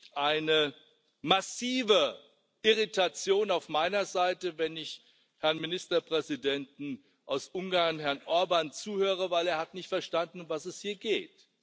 Es gibt eine massive Irritation auf meiner Seite, wenn ich dem Ministerpräsidenten Ungarns, Herrn Orbán, zuhöre, denn er hat nicht verstanden, um was es hier geht.